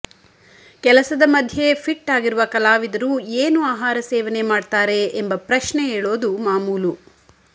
ಕೆಲಸದ ಮಧ್ಯೆ ಫಿಟ್ ಆಗಿರುವ ಕಲಾವಿದರು ಏನು ಆಹಾರ ಸೇವನೆ ಮಾಡ್ತಾರೆ ಎಂಬ ಪ್ರಶ್ನೆ ಏಳೋದು ಮಾಮೂಲು